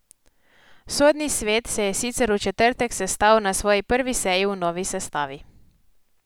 Sodni svet se je sicer v četrtek sestal na svoji prvi seji v novi sestavi.